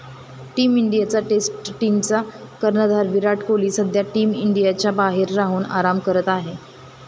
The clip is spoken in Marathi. टीम इंडियाचा टेस्ट टीमचा कर्णधार विराट कोहली सध्या टीम इंडियाच्या बाहेर राहून आराम करत आहे.